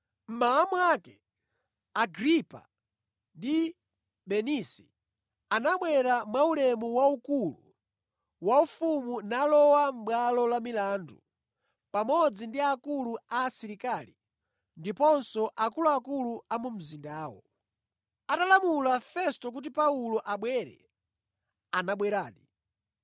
Mmawa mwake Agripa ndi Bernisi anabwera mwaulemu waukulu waufumu nalowa mʼbwalo la milandu pamodzi ndi akulu a asilikali ndiponso akuluakulu a mu mzindawo. Atalamula Festo kuti Paulo abwere, anabweradi.